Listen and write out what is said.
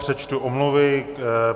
Přečtu omluvy.